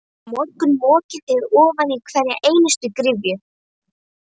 Á morgun mokið þið ofan í hverja einustu gryfju.